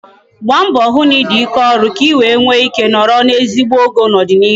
Gbaa mbọ hụ na ị dị ike ọrụ ka I wee nwe ike nọrọ n'ezigbo ogo n'ọdịnịihu